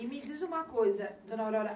E me diz uma coisa, dona Aurora.